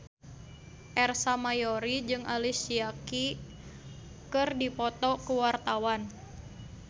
Ersa Mayori jeung Alicia Keys keur dipoto ku wartawan